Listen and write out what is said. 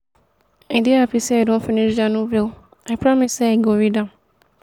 i dey happy say i don finish dat novel i promise say i go read